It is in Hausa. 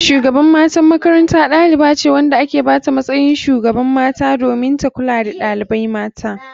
Shugaban matan makaranta ɗalibace wanda aka bata matsayin shugaban mata domin ta kulka da ɗalibai mata.